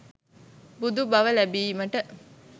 බුදු බව ලැබීමට